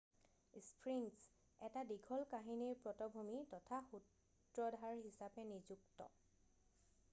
sphinx এটা দীঘল কাহিনীৰ পটভূমি তথা সূত্ৰধাৰ হিচাপে নিযুক্ত